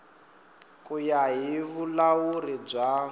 ku ya hi vulawuri bya